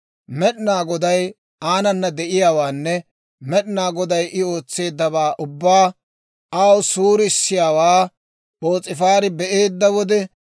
Med'inaa Goday aanana de'iyaawaanne Med'inaa Goday I ootseeddawaa ubbaa aw suurisiyaawaa P'oos'ifaari be'eedda wode,